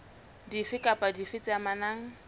dife kapa dife tse amanang